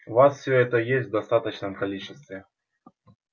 у вас все это есть в достаточном количестве